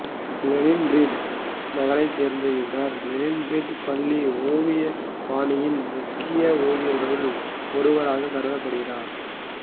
Leningrad நகரைச் சேர்ந்த இவர் லெனின்கிராட் பள்ளி ஓவியப்பாணியின் முக்கிய ஓவியர்களுள் ஒருவராகக் கருதப்படுகிறார்